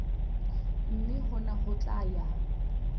mme hona ho tla ya